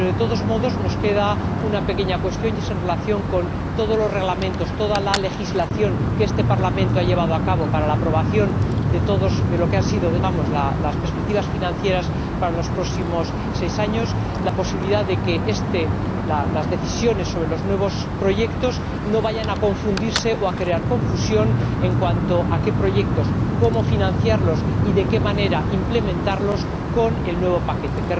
Pero, de todos modos, nos queda una pequeña cuestión en relación con todos los reglamentos, toda la legislación que este Parlamento ha elaborado para la aprobación de las perspectivas financieras para los próximos seis años la posibilidad de que las decisiones sobre los nuevos proyectos no vayan a confundirse o a crear confusión en cuanto a qué proyectos, cómo financiarlos y de qué manera implementarlos con el nuevo paquete.